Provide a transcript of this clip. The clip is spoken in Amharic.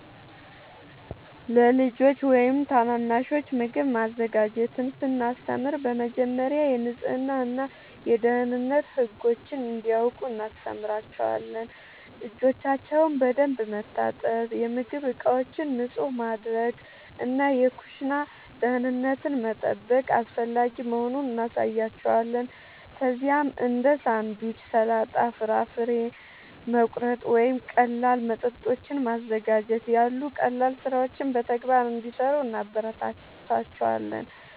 ለልጆች ወይም ታናናሾች ምግብ ማዘጋጀትን ስናስተምር በመጀመሪያ የንጽህና እና የደህንነት ህጎችን እንዲያውቁ እናስተምራቸዋለን። እጆቻቸውን በደንብ መታጠብ፣ የምግብ ዕቃዎችን ንጹህ ማድረግ እና የኩሽና ደህንነትን መጠበቅ አስፈላጊ መሆኑን እናሳያቸዋለን። ከዚያም እንደ ሳንድዊች፣ ሰላጣ፣ ፍራፍሬ መቁረጥ ወይም ቀላል መጠጦችን ማዘጋጀት ያሉ ቀላል ሥራዎችን በተግባር እንዲሠሩ እናበረታታቸዋለን።